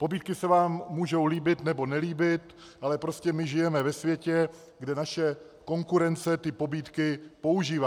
Pobídky se vám mohou líbit, nebo nelíbit, ale prostě my žijeme ve světě, kde naše konkurence ty pobídky používá.